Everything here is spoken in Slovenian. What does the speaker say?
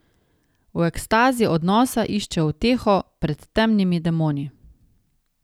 V ekstazi odnosa išče uteho pred temnimi demoni.